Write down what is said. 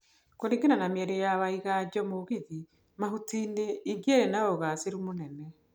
Kũringana na miario ya Waiganjomugithi Mahutini ingiari na ugaaciru munene.